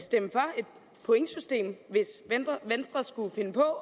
pointsystem hvis venstre skulle finde på